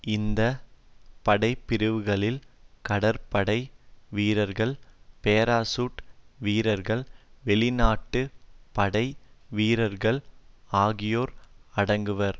இந்த படைப்பிரிவுகளில் கடற்படை வீரர்கள் பேராசூட் வீரர்கள் வெளிநாட்டு படை வீரர்கள் ஆகியோர் அடங்குவர்